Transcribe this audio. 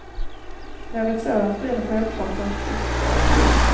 Något sådant blir det självklart inte.